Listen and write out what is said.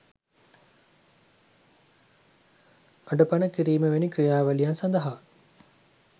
අඩපණ කිරිම වැනි ක්‍රියාවලියන් සදහා.